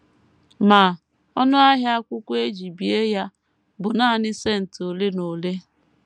Ma, ọnụ ahịa akwụkwọ e ji bie ya bụ nanị cent ole na ole.